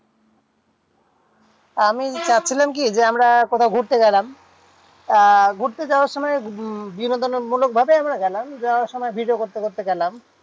আমি চাচ্ছিলাম কি যে আমরা কোথাও ঘুরতে গেলাম। আহ ঘুরতে যাওয়ার সময় উম বিনোদনমূলক ভাবে আমরা গেলাম। যাওয়ার সময় video করতে করতে গেলাম।